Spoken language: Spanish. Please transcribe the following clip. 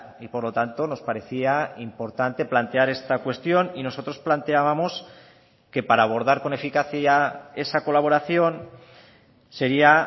y por lo tanto nos parecía importante plantear esta cuestión y nosotros planteábamos que para abordar con eficacia esa colaboración sería